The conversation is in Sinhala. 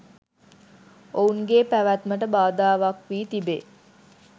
ඔවුන්ගේ පැවැත්මට බාධාවක් වී තිබේ